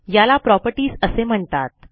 याला प्रॉपर्टीज असे म्हणतात